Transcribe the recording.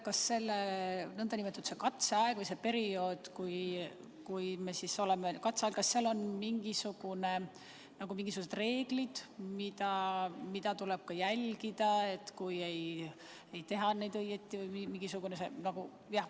Kas sel nn katseajal või sel perioodil, mis meil siis on, on ka mingisugused reeglid, mida tuleb järgida, kui ei tehta õigesti?